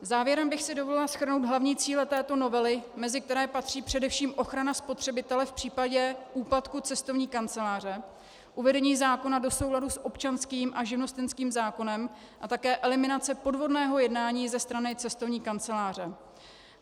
Závěrem bych si dovolila shrnout hlavní cíle této novely, mezi které patří především ochrana spotřebitele v případě úpadku cestovní kanceláře, uvedení zákona do souladu s občanským a živnostenským zákonem a také eliminace podvodného jednání ze strany cestovní kanceláře.